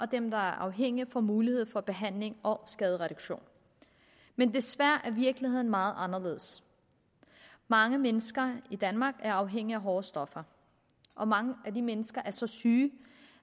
dem der er afhængige får mulighed for behandling og skadereduktion men desværre er virkeligheden meget anderledes mange mennesker i danmark er afhængige af hårde stoffer og mange af de mennesker er så syge